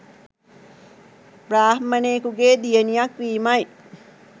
බ්‍රාහ්මණයෙකුගේ දියණියක් වීමයි